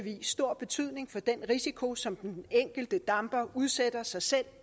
stor betydning for den risiko som den enkelte damper udsætter sig selv